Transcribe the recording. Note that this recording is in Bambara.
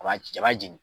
A b'a ci a b'a jeni